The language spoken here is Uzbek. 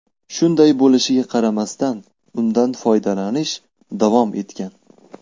Shunday bo‘lishiga qaramasdan, undan foydalanish davom etgan.